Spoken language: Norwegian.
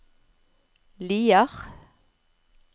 Lier